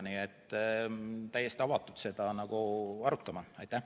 Nii et oleme selle arutamiseks täiesti avatud.